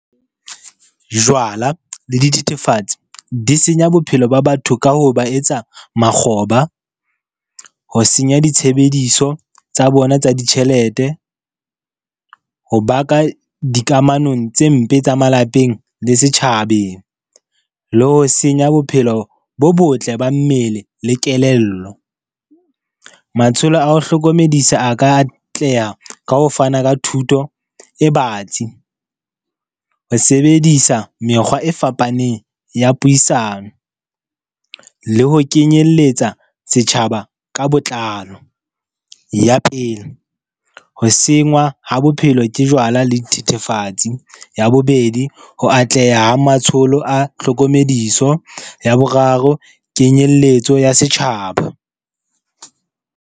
Jwala le dithethefatsi di senya bophelo ba batho ka ho ba etsa makgoba. Ho senya ditshebediso tsa bona tsa ditjhelete. Ho baka dikamanong tse mpe tsa malapeng le setjhabeng le ho senya bophelo bo botle ba mmele le kelello. Matsholo a ho hlokomedisa a ka atleha ka ho fana ka thuto e batsi. Ho sebedisa mekgwa e fapaneng ya puisano le ho kenyelletsa setjhaba ka botlalo. Ya pele, ho sengwa ha bophelo ke jwala le dithethefatsi. Ya bobedi, ho atleha ha matsholo a tlhokomediso. Ya boraro, kenyelletso ya setjhaba.